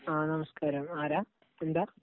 ആ നമസ്കാരം. ആരാ? എന്താ?